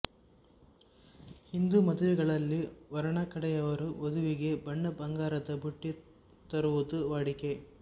ಹಿಂದು ಮದುವೆಗಳಲ್ಲಿ ವರನ ಕಡೆಯವರು ವಧುವಿಗೆ ಬಣ್ಣಬಂಗಾರದ ಬುಟ್ಟಿ ತರುವುದು ವಾಡಿಕೆ